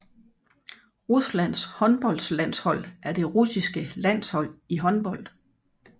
Ruslands håndboldlandshold er det russiske landshold i håndbold